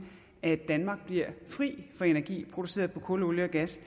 at danmark bliver fri for energi produceret på kul olie og gas